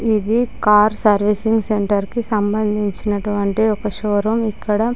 ఇది car servicing centre కి సంబంధించినటువంటి ఒక షోరూమ్. . ఇక్కడ--